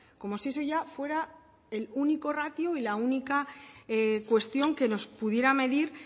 como si eso ya fuera el único ratio y la única cuestión que nos pudiera medir